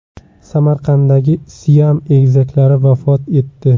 Samarqanddagi siam egizaklari vafot etdi.